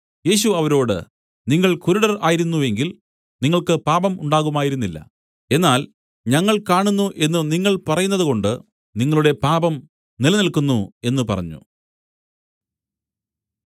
യേശു അവരോട് നിങ്ങൾ കുരുടർ ആയിരുന്നു എങ്കിൽ നിങ്ങൾക്ക് പാപം ഉണ്ടാകുമായിരുന്നില്ല എന്നാൽ ഞങ്ങൾ കാണുന്നു എന്നു നിങ്ങൾ പറയുന്നതുകൊണ്ട് നിങ്ങളുടെ പാപം നിലനില്ക്കുന്നു എന്നു പറഞ്ഞു